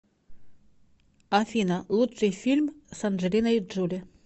афина лучший фильм с анджелиной джоли